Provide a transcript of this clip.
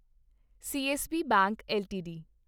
CSB bank LTD